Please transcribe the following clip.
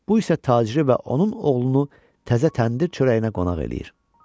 Bu isə taciri və onun oğlunu təzə təndir çörəyinə qonaq eləyir.